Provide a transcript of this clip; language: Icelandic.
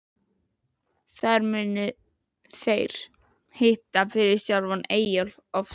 Þar munu þeir hitta fyrir sjálfan Eyjólf ofsa.